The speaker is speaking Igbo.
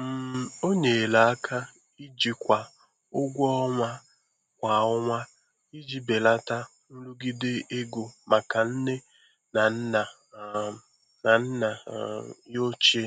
um O nyere aka ijikwa ụgwọ ọnwa kwa ọnwa iji belata nrụgide ego maka nne na nna um na nna um ya ochie